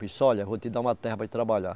Disse, olha, vou te dar uma terra para ir trabalhar.